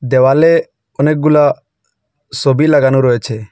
দেওয়ালে অনেকগুলা সবি লাগানো রয়েছে।